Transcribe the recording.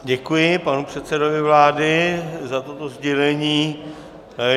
Děkuji panu předsedovi vlády za toto sdělení.